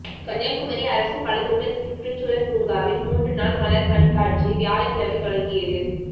கன்னியாகுமரி அரசு பழத்தோட்ட சுற்றுச்சூழல் பூங்காவில் மூன்று நாள் மலர் கண்காட்சி வியாழக்கிழமை தொடங்கியது